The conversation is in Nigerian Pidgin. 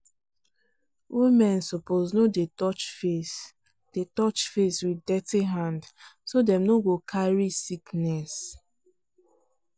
women suppose no dey touch face dey touch face with dirty hand so dem no go carry sickness.